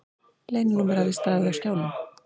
Leyninúmer hafði staðið á skjánum.